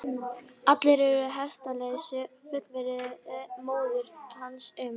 Allir eru við hestaheilsu, fullvissaði móðir hans um.